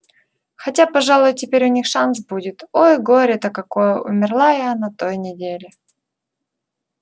хотя пожалуй теперь у них шанс будет ой горе-то какое умерла я на той неделе